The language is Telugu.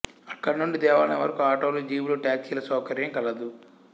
అక్కడి నుండి దేవాలయం వరకూ ఆటోలు జీపులు టాక్సీల సౌకర్యం కలదు